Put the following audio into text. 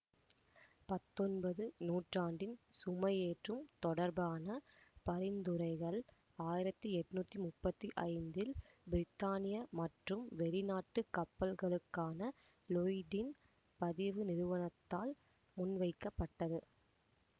பத்தொன்பது நூற்றாண்டின் சுமையேற்றம் தொடர்பான பரிந்துரைகள் ஆயிரத்தி எட்ணூத்தி முப்பத்தி ஐந்தில் பிரித்தானிய மற்றும் வெளிநாட்டு கப்பல்களுக்கான லொயிடின் பதிவு நிறுவனத்தால் முன்வைக்கப்பட்டது